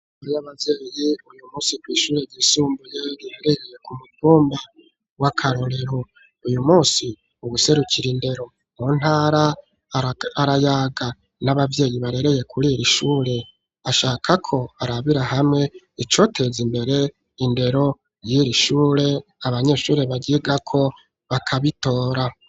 Hari abavyeyi uyu munsi kw ishure ryisumbuye ,riberereye ku mutumba wa karorero, uyu munsi uwuserukira indero mu ntara arayaga n'ababyeyi barereye kuriiri ishure ,ashaka ko barabira hamwe icoteza imbere indero y'iri shure ,abanyeshuri bahiga ko bakabitora.